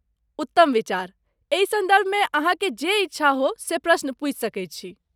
उत्तम विचार। एहि सन्दर्भमे अहाँकेँ जे इच्छा हो से प्रश्न पूछि सकैत छी।